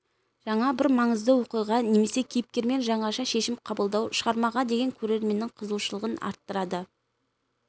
жаңа бір маңызды оқиға немесе кейіпкермен жаңаша шешім қабылдау шығармаға деген көрерменнің қызығушылығын арттырады